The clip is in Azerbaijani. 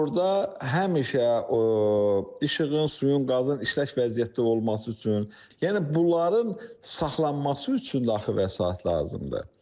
işığın, suyun, qazın işlək vəziyyətdə olması üçün, yəni bunların saxlanması üçün də axı vəsait lazımdır.